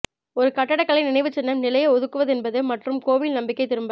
ஒரு கட்டடக்கலை நினைவுச்சின்னம் நிலையை ஒதுக்குவதென்பது மற்றும் கோவில் நம்பிக்கை திரும்ப